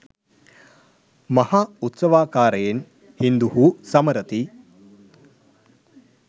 මහා උත්සවාකාරයෙන් හින්දුහු සමරති